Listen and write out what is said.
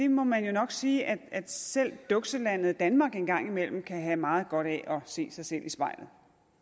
må man jo nok sige at selv dukselandet danmark en gang imellem kan have meget godt af at se sig selv i spejlet